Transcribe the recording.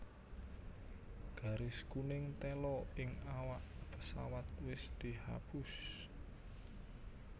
Garis kuning tela ing awak pesawat wis dihapus